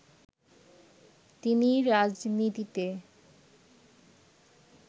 তিনি "রাজনীতিতে